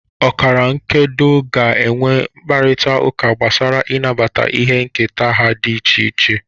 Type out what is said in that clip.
Ọkara nkedo ga-enwe mkparịta ụka gbasara ịnabata ihe nketa ha dị iche iche